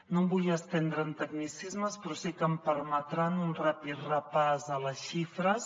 no em vull estendre en tecnicismes però sí que em permetran un ràpid repàs de les xifres